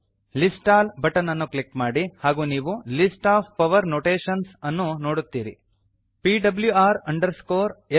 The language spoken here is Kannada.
list all list all button ಅನ್ನು ಕ್ಲಿಕ್ ಮಾಡಿ ಹಾಗೂ ನೀವು list of power notations list of power notations ಅನ್ನು ನೋಡುತ್ತೀರಿ